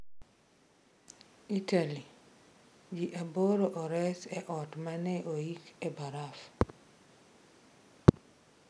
Italy: Ji aboro ores e ot ma ne oiki e baraf